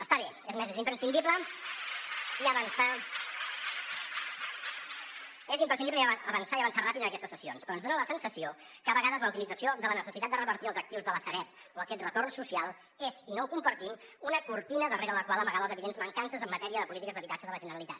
està bé és més és imprescindible avançar i avançar ràpid en aquestes cessions però ens dona la sensació que a vegades la utilització de la necessitat de revertir els actius de la sareb o aquest retorn social és i no ho compartim una cortina darrere la qual amagar les evidents mancances en matèria de polítiques d’habitatge de la generalitat